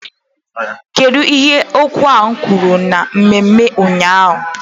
Kedu ihe okwu a kwuru na mmemme ụnyaahụ?